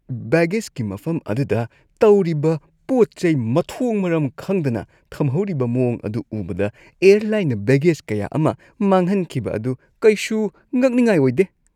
ꯕꯦꯒꯦꯖꯀꯤ ꯃꯐꯝ ꯑꯗꯨꯗ ꯇꯧꯔꯤꯕ ꯄꯣꯠ-ꯆꯩ ꯃꯊꯣꯡ-ꯃꯔꯝ ꯈꯪꯗꯅ ꯊꯝꯍꯧꯔꯤꯕ ꯃꯋꯣꯡ ꯑꯗꯨ ꯎꯕꯗ, ꯑꯦꯌꯔꯂꯥꯏꯟꯅ ꯕꯦꯒꯦꯖ ꯀꯌꯥ ꯑꯃ ꯃꯥꯡꯍꯟꯈꯤꯕ ꯑꯗꯨ ꯀꯩꯁꯨ ꯉꯛꯅꯤꯡꯉꯥꯏ ꯑꯣꯏꯗꯦ ꯫